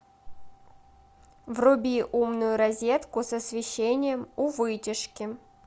вруби умную розетку с освещением у вытяжки